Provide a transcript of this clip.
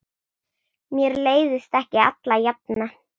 Mér leiðist ekki alla jafna.